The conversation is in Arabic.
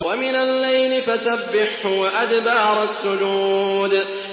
وَمِنَ اللَّيْلِ فَسَبِّحْهُ وَأَدْبَارَ السُّجُودِ